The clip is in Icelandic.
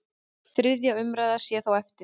Þriðja umræða sé þó eftir.